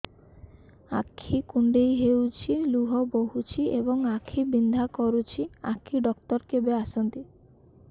ଆଖି କୁଣ୍ଡେଇ ହେଉଛି ଲୁହ ବହୁଛି ଏବଂ ବିନ୍ଧା କରୁଛି ଆଖି ଡକ୍ଟର କେବେ ଆସନ୍ତି